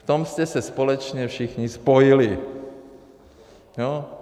V tom jste se společně všichni spojili, jo?